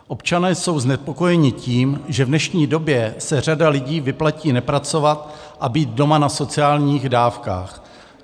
Občané jsou znepokojeni tím, že v dnešní době se řadě lidí vyplatí nepracovat a být doma na sociálních dávkách.